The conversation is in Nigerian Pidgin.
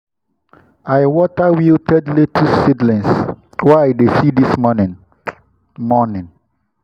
i water wilted lettuce seedlings wey i see this morning. morning.